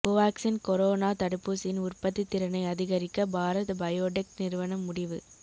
Covaxin corona தடுப்பூசியின் உற்பத்தி திறனை அதிகரிக்க பாரத் பயோடெக் நிறுவனம் முடிவு